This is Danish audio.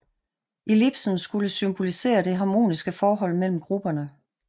Ellipsen skulle symbolisere det harmoniske forhold mellem grupperne